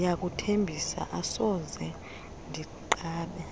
ndiyakuthembisa asoze ndinqabe